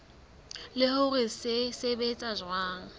le hore se sebetsa jwang